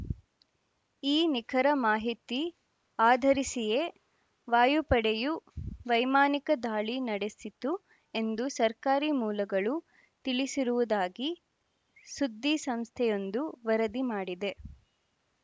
ಈ ನಿಖರ ಮಾಹಿತಿ ಆಧರಿಸಿಯೇ ವಾಯುಪಡೆಯು ವೈಮಾನಿಕ ದಾಳಿ ನಡೆಸಿತು ಎಂದು ಸರ್ಕಾರಿ ಮೂಲಗಳು ತಿಳಿಸಿರುವುದಾಗಿ ಸುದ್ದಿಸಂಸ್ಥೆಯೊಂದು ವರದಿ ಮಾಡಿದೆ